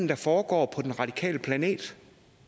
der foregår på den radikale planet